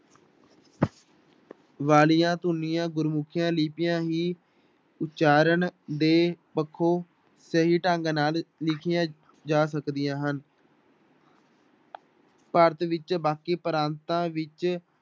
ਵਾਲੀਆਂ ਧੁਨੀਆਂ ਗੁਰਮੁਖੀਆਂ ਲਿੱਪੀਆਂ ਹੀ ਉਚਾਰਨ ਦੇ ਪੱਖੋਂ ਸਹੀ ਢੰਗ ਨਾਲ ਲਿਖੀਆਂ ਜਾ ਸਕਦੀਆਂ ਹਨ ਭਾਰਤ ਵਿੱ ਬਾਕੀ ਪ੍ਰਾਤਾਂ ਵਿੱਚ